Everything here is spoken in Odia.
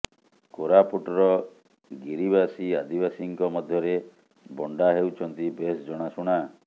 କୋରାପୁଟର ଗିରିବାସୀ ଆଦିବାସୀଙ୍କ ମଧ୍ୟରେ ବଣ୍ଡା ହେଉଛନ୍ତି ବେଶ୍ ଜଣାଶୁଣା